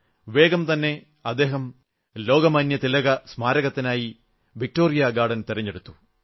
വേഗം തന്നെ അദ്ദേഹം ലോകമാന്യ തിലക സ്മാരകത്തിനായി വിക്ടോറിയ ഗാർഡൻ തിരഞ്ഞെടുത്തു